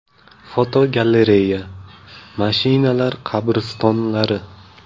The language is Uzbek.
Fotogalereya: Mashinalar qabristonlari.